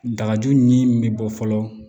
Dagaju ni min be bɔ fɔlɔ